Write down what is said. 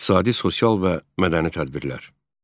İqtisadi, sosial və mədəni tədbirlər.